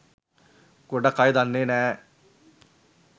ගොඩක් අය දන්නෙ නෑ